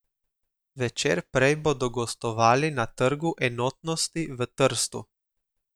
Večer prej bodo gostovali na Trgu enotnosti v Trstu.